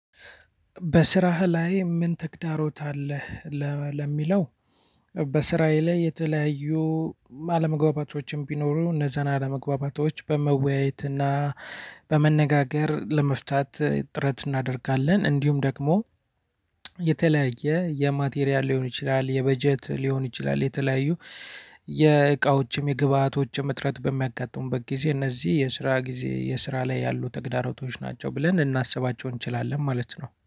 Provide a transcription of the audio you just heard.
በስራህ ላይ ምን ተግዳሮት አለህ? ለሚለው በስራዬ ላይ የተለያዩ አለመግባባቶችም ቢኖሩ እነዛን አለመግባባቶች በመወያየት እና በመነጋገር ለመፍታት ጥረት እናደርጋለን። እንዲሁም ደግሞ የተለያየ የማቴሪያል ሊሆን ይችላል የበጀት ሊሆን ይችላል የተለያዩ የእቃዎችም የግብአቶችም እጥረት በሚያጋጥሙበት ጊዜ እነዚህ የስራ ጊዜ የስራ ላይ ያሉ ተግዳሮቶች ናቸው ብለን እናስባቸው እንችላለን። ማለት ነው